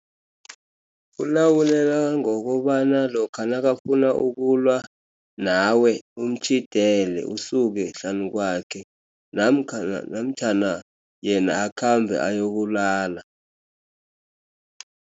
Ukulawuleka ngokobana lokha nakafuna ukulwa nawe, umtjhidele usuke hlanu kwakhe, namkha namtjhana yena akhambe ayokulala.